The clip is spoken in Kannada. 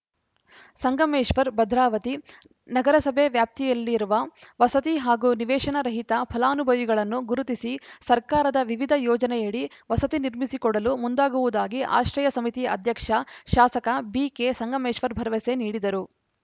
ಸಂಗಮೇಶ್ವರ್‌ ಭದ್ರಾವತಿ ನಗರಸಭೆ ವ್ಯಾಪ್ತಿಯಲ್ಲಿರುವ ವಸತಿ ಹಾಗೂ ನಿವೇಶನ ರಹಿತ ಫಲಾನುಭವಿಗಳನ್ನು ಗುರುತಿಸಿ ಸರ್ಕಾರದ ವಿವಿಧ ಯೋಜನೆಯಡಿ ವಸತಿ ನಿರ್ಮಿಸಿಕೊಡಲು ಮುಂದಾಗುವುದಾಗಿ ಆಶ್ರಯ ಸಮಿತಿ ಅಧ್ಯಕ್ಷ ಶಾಸಕ ಬಿಕೆ ಸಂಗಮೇಶ್ವರ್‌ ಭರವಸೆ ನೀಡಿದರು